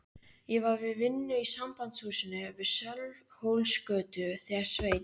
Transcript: Ég var við vinnu í Sambandshúsinu við Sölvhólsgötu þegar Sveinn